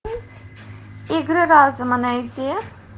игры разума найди